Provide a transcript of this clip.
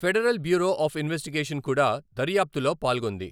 Federal Bureau of Investigation కూడా దర్యాప్తులో పాల్గొంది.